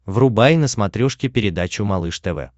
врубай на смотрешке передачу малыш тв